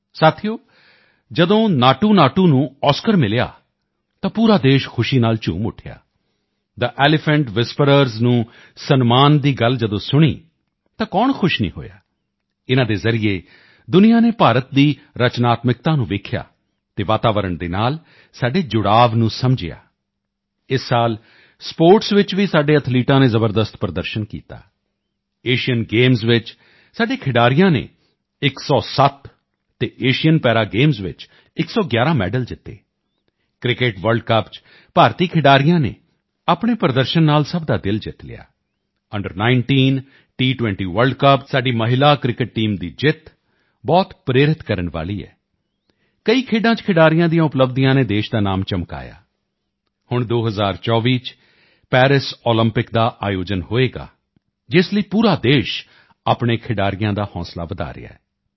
ਸਾਥੀਓ ਜਦੋਂ ਨਾਟੂਨਾਟੂ ਨੂੰ ਔਸਕਰ ਮਿਲਿਆ ਤਾਂ ਪੂਰਾ ਦੇਸ਼ ਖੁਸ਼ੀ ਨਾਲ ਝੂਮ ਉੱਠਿਆ ਥੇ ਐਲੀਫੈਂਟ ਵ੍ਹਿਸਪਰਰਜ਼ ਨੂੰ ਸਨਮਾਨ ਦੀ ਗੱਲ ਜਦੋਂ ਸੁਣੀ ਤਾਂ ਕੌਣ ਖੁਸ਼ ਨਹੀਂ ਹੋਇਆ ਇਨ੍ਹਾਂ ਦੇ ਜ਼ਰੀਏ ਦੁਨੀਆ ਨੇ ਭਾਰਤ ਦੀ ਰਚਨਾਤਮਕਤਾ ਨੂੰ ਵੇਖਿਆ ਅਤੇ ਵਾਤਾਵਰਣ ਦੇ ਨਾਲ ਸਾਡੇ ਜੁੜਾਵ ਨੂੰ ਸਮਝਿਆ ਇਸ ਸਾਲ ਸਪੋਰਟਸ ਵਿੱਚ ਵੀ ਸਾਡੇ ਐਥਲੀਟਾਂ ਨੇ ਜ਼ਬਰਦਸਤ ਪ੍ਰਦਰਸ਼ਨ ਕੀਤਾ ਏਸ਼ੀਅਨ ਗੇਮਸ ਵਿੱਚ ਸਾਡੇ ਖਿਡਾਰੀਆਂ ਨੇ 107 ਅਤੇ ਏਸ਼ੀਅਨ ਪੈਰਾਗੇਮਸ ਵਿੱਚ 111 ਮੈਡਲ ਜਿੱਤੇ ਕ੍ਰਿਕਟ ਵਰਲਡ ਕੱਪ ਵਿੱਚ ਭਾਰਤੀ ਖਿਡਾਰੀਆਂ ਨੇ ਆਪਣੇ ਪ੍ਰਦਰਸ਼ਨ ਨਾਲ ਸਭ ਦਾ ਦਿਲ ਜਿੱਤ ਲਿਆ ਅੰਡਰ19 ਟੀ20 ਵਰਲਡ ਕੱਪ ਵਿੱਚ ਸਾਡੀ ਮਹਿਲਾ ਕ੍ਰਿਕਟ ਟੀਮ ਦੀ ਜਿੱਤ ਬਹੁਤ ਪ੍ਰੇਰਿਤ ਕਰਨ ਵਾਲੀ ਹੈ ਕਈ ਖੇਡਾਂ ਵਿੱਚ ਖਿਡਾਰੀਆਂ ਦੀਆਂ ਉਪਲਬਧੀਆਂ ਨੇ ਦੇਸ਼ ਦਾ ਨਾਮ ਚਮਕਾਇਆ ਹੁਣ 2024 ਵਿੱਚ ਪੈਰਿਸ ਓਲੰਪਿਕਸ ਦਾ ਆਯੋਜਨ ਹੋਵੇਗਾ ਜਿਸ ਲਈ ਪੂਰਾ ਦੇਸ਼ ਆਪਣੇ ਖਿਡਾਰੀਆਂ ਦਾ ਹੌਂਸਲਾ ਵਧਾ ਰਿਹਾ ਹੈ